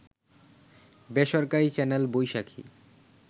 বেসরকারি চ্যানেল বৈশাখী